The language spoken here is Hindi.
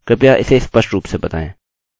कृपया इसे स्पष्ट रूप से बताएँ